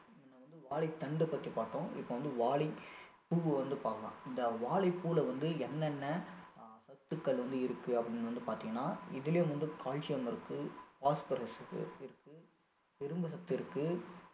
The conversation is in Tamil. முன்ன வந்து வாழைத்தண்டை பத்தி பார்த்தோம் இப்போ வந்து வாழைப்பூவை வந்து பாக்கலாம் இந்த வாழைப்பூல வந்து என்னென்ன அஹ் சத்துக்கள் வந்து இருக்கு அப்படின்னு வந்து பார்த்திங்கனா இதுலயும் வந்து calcium இருக்கு phosphorus இருக்கு இருக்கு இரும்புசத்து இருக்கு